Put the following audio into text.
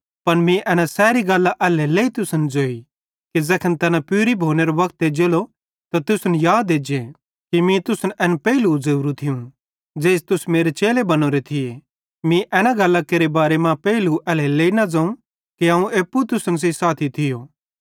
पन मीं एना सैरी गल्लां एल्हेरेलेइ तुसन सेइं ज़ोई कि ज़ैखन तैना पूरी भोनेरो वक्त एज्जेलो त तुसन याद एज्जे कि मीं तुसन एन पेइलू ज़ोरू थियूं ज़ेइस तुस मेरे चेले बनोरे थिये मीं एना गल्लां केरे बारे मां पेइलू एल्हेरेलेइ न ज़ोवं कि अवं एप्पू तुसन सेइं साथी थियो